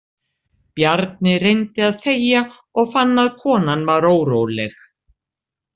Bjarni reyndi að þegja og fann að konan var óróleg.